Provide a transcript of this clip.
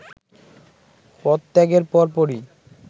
পদত্যাগের পরপরই